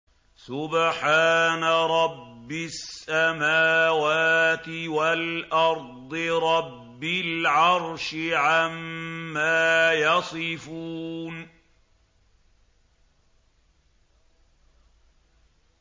سُبْحَانَ رَبِّ السَّمَاوَاتِ وَالْأَرْضِ رَبِّ الْعَرْشِ عَمَّا يَصِفُونَ